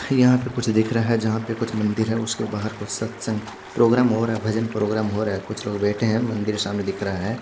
यहाँ पे कुछ दिख रहा है जहा पे कुछ मंदिर है उसके बाहर कुछ सतसंग प्रोग्राम होरा भजन प्रोग्राम होरा कुछ लोग बेठे है मंदिर सामने दिख रहा है।